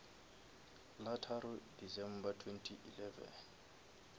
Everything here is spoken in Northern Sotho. la tharo december twenty eleven